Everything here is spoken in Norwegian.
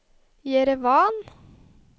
Jerevan